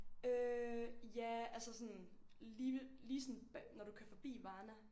Øh ja altså sådan lige ved lige sådan når du kører forbi Varna